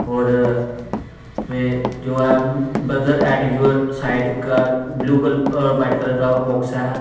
और वो जो आ ब्रदर आर्ट गेअर साइड का ब्लू और वाइट कलर का बॉक्स है।